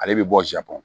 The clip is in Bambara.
Ale bɛ bɔ ja bɔ